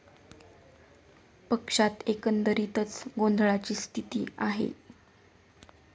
पक्षात एकंदरीतच गोंधळाची स्थिती आहे.